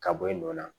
Ka bɔ i nɔ na